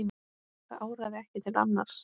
Það áraði ekki til annars.